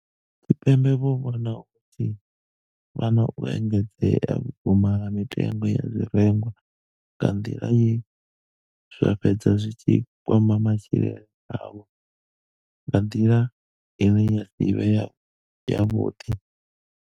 Tshipembe vho vhona hu tshi vha na u engedzea vhukuma ha mitengo ya zwirengwa nga nḓila ye zwa fhedza zwi tshi kwama matshilele avho nga nḓila ine ya si vhe yavhuḓi.